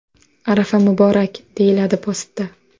Arafa muborak!” deyiladi postda.